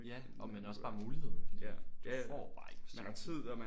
Ja og man har også bare muligheden fordi du får bare ikke chancen